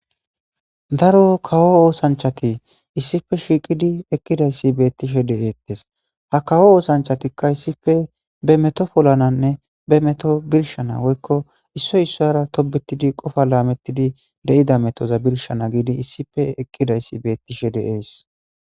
daro kawo oosanchati issipe shiiqidi eqqidayssi beettishe de7ettes ha kawo oosanchatikka issife be meto polananne be meto birshana woykko issoy issora tobetidi qofa laamettidi de7ida metoza birshana giidi issife eqqidayssi beettishe deees.